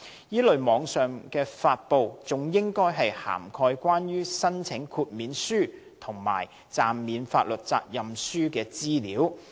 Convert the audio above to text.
這類網上發布，還應涵蓋關於申請豁免書及暫免法律責任書的資料。